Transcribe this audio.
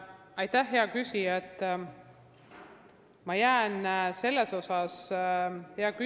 Aitäh, hea küsija!